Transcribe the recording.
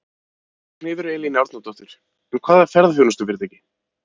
Ragnheiður Elín Árnadóttir: En hvaða ferðaþjónustufyrirtæki?